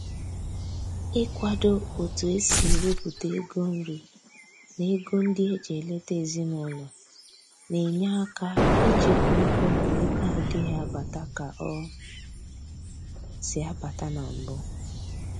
Ị kwado otu e si ewepụta ego nri na ego ndị eji eleta ezinaụlọ na-enye aka ịchekwa ego mgbe ego adịghị abata ka ọ si abata na mbụ